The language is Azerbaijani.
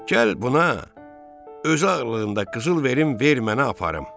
Gəl buna özü ağırlığında qızıl verim, ver mənə aparım.